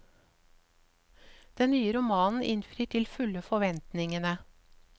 Den nye romanen innfrir til fulle forventningene.